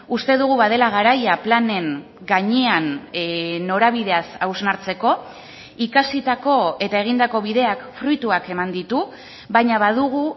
uste dugu badela garaia planen gainean norabideaz hausnartzeko ikasitako eta egindako bideak fruituak eman ditu baina badugu